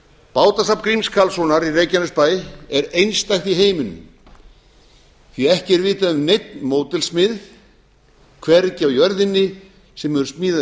bátasafn gríms karlssonar í reykjanesbæ er einstakt í heiminum því ekki er vitað um neinn módelsmið hvergi á jörðinni sem hefur smíðað